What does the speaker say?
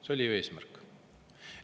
See oli ju eesmärk.